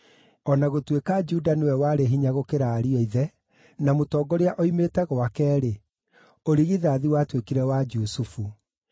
o na gũtuĩka Juda nĩwe warĩ hinya gũkĩra ariũ a ithe, na mũtongoria oimĩte gwake-rĩ, ũrigithathi watuĩkire wa Jusufu);